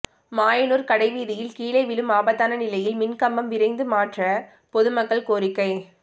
மாயனூர் கடைவீதியில் கீழே விழும் ஆபத்தான நிலையில் மின்கம்பம் விரைந்து மாற்ற பொதுமக்கள் கோரிக்கை